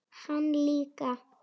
Hann líka.